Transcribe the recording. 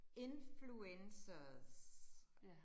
Influcencers